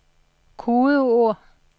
kodeord